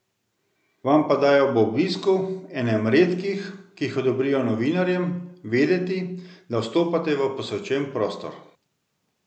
Vam pa dajo ob obisku, enem redkih, ki jih odobrijo novinarjem, vedeti, da vstopate v posvečen prostor.